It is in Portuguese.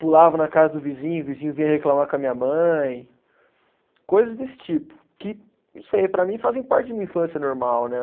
Pulava na casa do vizinho, vizinho vinha reclamar com a minha mãe, coisas desse tipo, que, não sei, para mim fazem parte de uma infância normal, né?